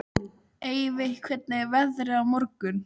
Eyveig, hvernig er veðrið á morgun?